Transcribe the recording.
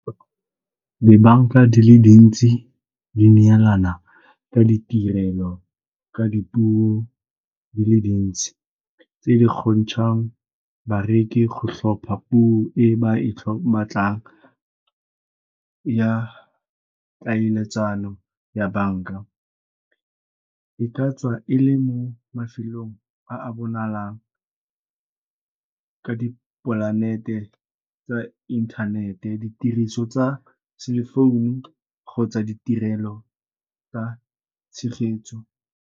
Dibanka di le dintsi di neelana ka ditirelo, ka dipuo di le dintsi, tse di kgontshang bareki go tlhopha puo e ba e batlang ya peeletsano ya banka. E ka tswa e le mo mafelong a bonalang ka dipolanete tsa inthanete, ditiriso tsa cell-e founu kgotsa ditirelo tsa tshegetso.